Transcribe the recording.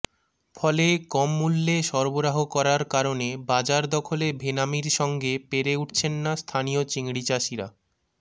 ফলে কম মূল্যে সরবরাহ করার কারণে বাজার দখলে ভেনামির সঙ্গে পেরে উঠছেন না স্থানীয় চিংড়িচাষিরা